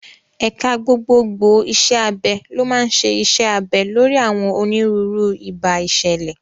Ẹ̀ka gbogbogbò iṣẹ́ abẹ ló máa ń ṣe iṣẹ́ abẹ lórí àwọn onírúurú ìbá ìṣẹ̀lẹ̀.